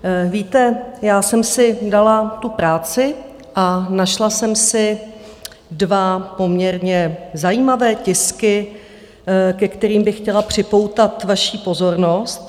Víte, já jsem si dala tu práci a našla jsem si dva poměrně zajímavé tisky, ke kterým bych chtěla připoutat vaši pozornost.